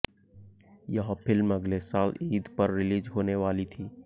यह फ़िल्म अगले साल ईद पर रिलीज़ होने वाली थी